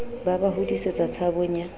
ba ba hodisetsa tshabong ya